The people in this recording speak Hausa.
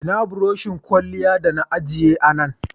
Ina buroshin kwalya da na ajiye a Nan?0